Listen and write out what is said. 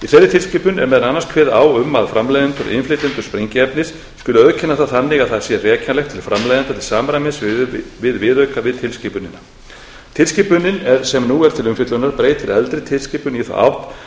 meðal annars kveðið á um að framleiðendur og innflytjendur sprengiefnis skuli auðkenna það þannig að það sé rekjanlegt til framleiðenda til samræmis við viðauka við tilskipunina tilskipunin sem nú er til umfjöllunar breytir eldri tilskipun